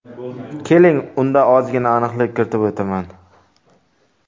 Keling, unda ozgina aniqlik kiritib o‘taman.